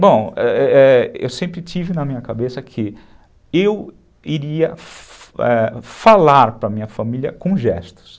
Bom, é é, eu sempre tive na minha cabeça que eu iria falar para a minha família com gestos.